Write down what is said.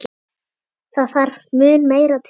Það þarf mun meira til.